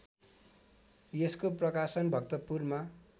यसको प्रकाशन भक्तपुरमा